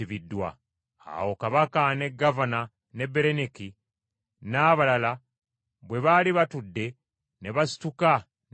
Awo Kabaka, ne gavana ne Berenike, n’abalala bwe baali batudde, ne basituka ne bafuluma.